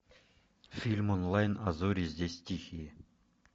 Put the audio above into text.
фильм онлайн а зори здесь тихие